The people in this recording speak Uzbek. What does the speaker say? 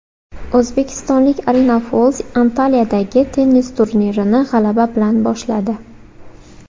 O‘zbekistonlik Arina Fols Antaliyadagi tennis turnirini g‘alaba bilan boshladi.